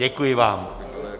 Děkuji vám.